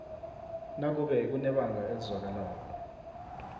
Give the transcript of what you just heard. nakube kunebanga elizwakalako